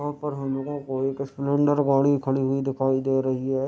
यहाँ पर हमलोगो को एक स्प्लेंडर गाड़ी खड़ी हुई दिखाई दे रही है।